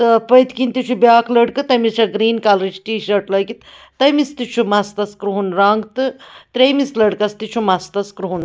تہٕ پٔتھۍکِنۍتہِ چُھ بیٛاکھ لٔڑکہٕ تٔمِس چھےٚگریٖن کلرٕچ ٹی شٲٹ .لٲگِتھ تٔمِس تہِ چُھ مستس کرٛہُن رنٛگ تہٕ ترٛیٚیمِس لٔڑکس تہِ چُھ مستس کرٛہُن